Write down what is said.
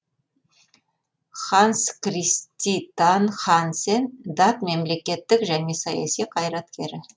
ханс криститан хансен дат мемлекттік және саяси қайраткері